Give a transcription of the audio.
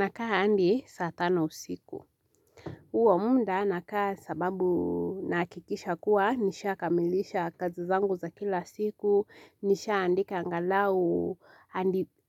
Nakaa hadi saa tano usiku. Huo muda nakaa sababu nahakikisha kuwa nishakamilisha kazi zangu za kila siku, nishaandika angalau,